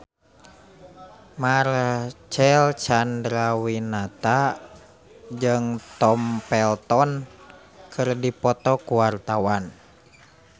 Marcel Chandrawinata jeung Tom Felton keur dipoto ku wartawan